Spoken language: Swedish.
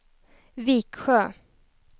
Viksjö